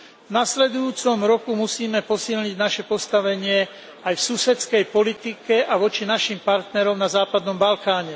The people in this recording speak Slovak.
V nasledujúcom roku musíme posilniť naše postavenie aj v susedskej politike a voči našim partnerom na západnom Balkáne.